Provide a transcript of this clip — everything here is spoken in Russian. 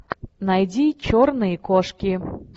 найди черные кошки